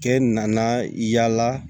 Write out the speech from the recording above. Kɛ nana yala